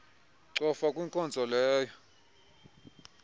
cofa kwinkonzo leyo